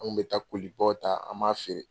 Anw kun bɛ taa baw ta an b'a feere.